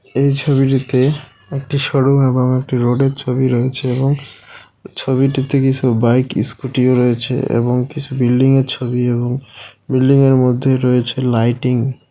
এই ছবিটিতে একটি শোরুম এবং একটি রোডের ছবি রয়েছে এবং ছবিটিতে কিছু বাইক স্কুটিও রয়েছে এবং কিছু বিল্ডিংয়ের ছবি এবং বিল্ডিংয়ের মধ্যে রয়েছে লাইটিং .